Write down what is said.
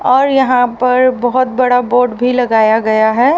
और यहां पर बहोत बड़ा बोर्ड भी लगाया गया है।